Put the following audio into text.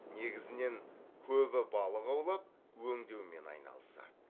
негізінен көбі балық аулап өңдеумен айналысады